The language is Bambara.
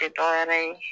Tɛ dɔ wɛrɛ ye